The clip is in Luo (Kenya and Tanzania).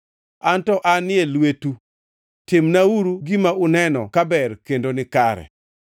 Anto an e lweti; timnauru gima uneno ka ber kendo nikare.